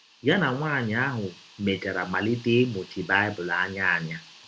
Ya na nwaanyị ahụ mechara malite ịmụchi Baịbụl anya anya.